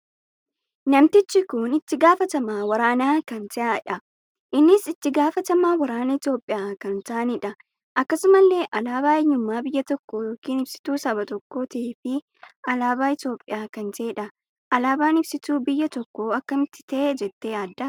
Namtichi kun itti gaafatamaa waraanaa kan taheedha. innis itti gaafatamaa waraanaa Itoophiyaa kan ta'aaniidha. akkasumallee alaabaa eenyummaa biyya tokkoo ykn ibsituu saba tokkoo tahee fi alaabaa Itoophiyaa kan taheedha. alaabaan ibsitu biyya tokkoo akkamitti tahe jettee yaadda?